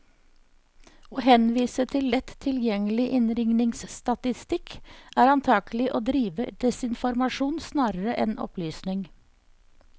Å henvise til lett tilgjengelig innringningsstatistikk, er antagelig å drive desinformasjon snarere enn opplysning.